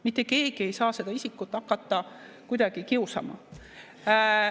Mitte keegi ei saa seda isikut hakata kuidagi kiusama.